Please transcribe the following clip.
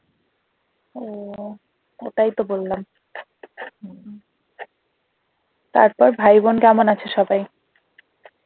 ও ওটাই তো বললাম তারপর ভাই বোন কেমন আছে সবাই?